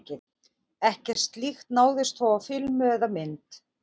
Ekkert slíkt náðist þó á filmu eða mynd.